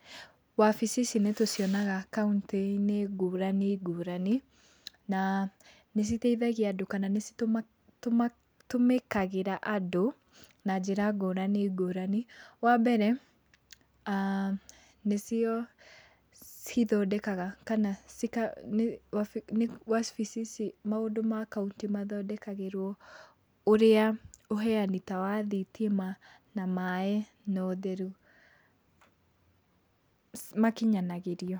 Wabici ici nĩtũcionaga kauntĩ-inĩ ngũrani ngũrani, na nĩciteithagia andũ kana nĩcitũmĩkagĩra andũ na njĩra ngũrani ngũrani. Wambere nĩcio cithondekaga kana cika nĩ wabici ici maũndũ ma kaũntĩ mathondekagĩrwo, ũrĩa ũheani ta wa thitima na maĩ na ũtheru makinyanagĩrio.